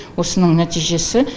осының нәтижесі